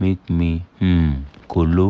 make me um kolo